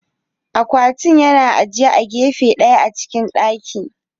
Akwatin yana ajiye a gefe ɗaya a cikin dakin.